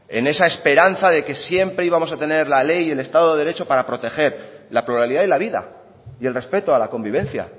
en esa esperanza de que siempre íbamos a tener la ley y el estado de derecho para proteger la pluralidad y la vida y el respeto a la convivencia